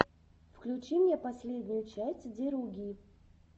включи мне последнюю часть деруги